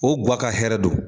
O gua ka hɛrɛ don.